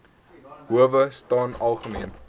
howe staan algemeen